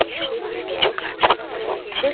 পাশে কিছু গাছ পালা রয়েছে।